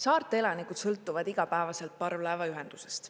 Saarte elanikud sõltuvad igapäevaselt parvlaevaühendusest.